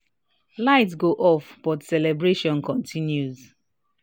light go off but celebration continue